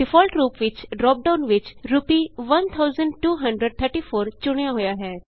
default ਰੂਪ ਨਾਲ dropdown ਵਿਚ ਰੂਪੀ 1234 ਚੁਣਿਆ ਹੋਇਆ ਹੈ